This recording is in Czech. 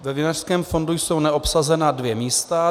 Ve Vinařském fondu jsou neobsazena dvě místa.